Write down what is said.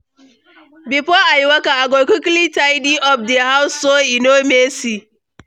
Before I waka, I go quickly tidy up di house so e no messy.